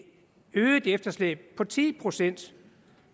øget efterslæb på ti procent